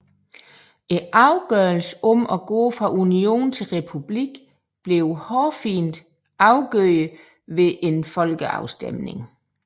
Afgørelsen om at gå fra union til republik blev hårfint afgjort ved en folkeafstemning